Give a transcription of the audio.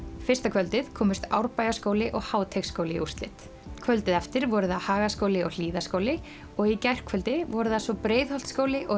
fyrsta kvöldið komust Árbæjarskóli og Háteigsskóli í úrslit kvöldið eftir voru það Hagaskóli og Hlíðaskóli og í gærkvöldi voru það svo Breiðholtsskóli og